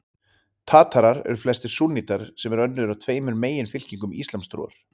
Tatarar eru flestir súnnítar, sem er önnur af tveimur meginfylkingum íslamstrúar.